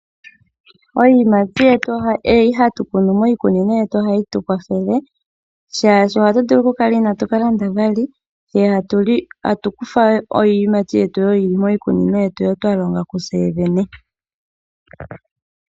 Iiyimati mbyono hatu kunu miikunino yetu ohayi tukwathele shaashi ohatu vulu oku kala inatu kalanda we. Tatu kutha ashike iiyimati mbyono yili miikunino mbi twalonga kutseyene.